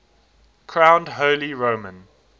crowned holy roman